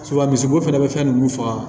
misibo fana bɛ fɛn nunnu faga